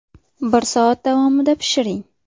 Bir soat davomida pishiring.